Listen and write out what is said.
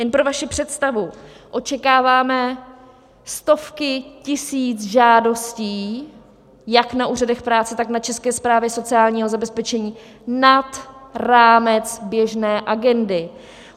Jen pro vaši představu, očekáváme stovky tisíc žádostí jak na úřadech práce, tak na České správě sociálního zabezpečení, nad rámec běžné agendy.